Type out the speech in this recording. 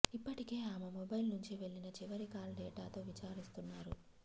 ఇప్పటికే ఆమె మొబైల్ నుంచి వెళ్లిన చివరి కాల్ డేటాతో విచారిస్తున్నారు